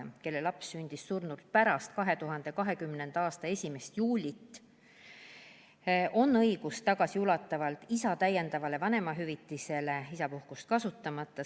Isal, kelle laps sündis surnult pärast 2020. aasta 1. juulit, on õigus tagasiulatuvalt saada isa täiendavat vanemahüvitist isapuhkust kasutamata.